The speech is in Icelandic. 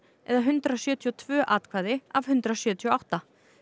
eða hundrað sjötíu og tvö atkvæði af hundrað sjötíu og átta